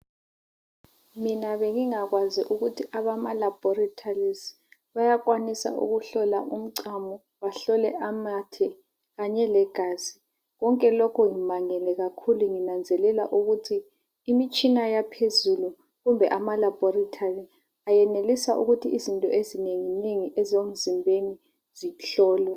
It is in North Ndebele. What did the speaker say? Mina bengingakwazi ukuthi abama laboratories bayakwanisa ukuhlola umchamo bahlole amathe kanye legazi konke lokho ngimangele kakhulu nginanzelela ukuthi imitshina yaphezulu kumbe ama laboratory ayenelisa ukuthi izinto ezinengi nengi ezemzimbeni zihlolwe